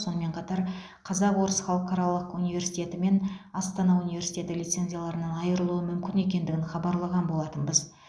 сонымен қатар қазақ орыс халықаралық университеті мен астана университеті лицензияларынан айырылуы мүмкін екендігін хабарлаған болатынбыз